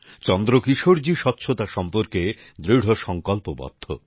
চন্দ্রকিশোরজি স্বচ্ছতা সম্পর্কে দৃঢ় সংকল্পবদ্ধ